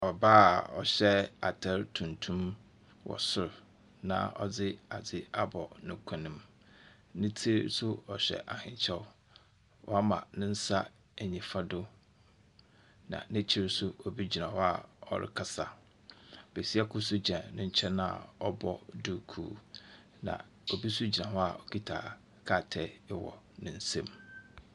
Ɔbaa a ɔhyɛ atar tntnum wɔ sor na ɔdze adze abɔ ne kɔn mu. Ne tsir so ɔhyɛ ahenkyɛw. Ɔama ne nsa nyimfa do. Na n'ekyir so, obi gyina hɔ ɔrekasa. Besia kor nso gyina ne nkyɛn a ɔbɔ duku. Na obi gyina hɔ okita krataa wɔ ne nsam.